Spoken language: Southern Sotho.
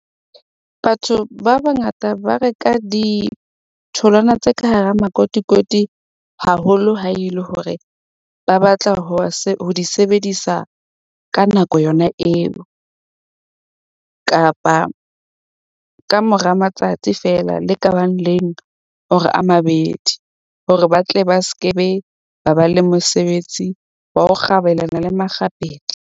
Batho ba bangata ba reka ditholwana tse ka hara makotikoti haholo ha e le hore ba batla ho di sebedisa ka nako yona eo. Kapa kamora matsatsi feela, le kabang leng hore a mabedi hore ba tle ba skebe, ba ba le mosebetsi wa ho kgabelana le makgapetla.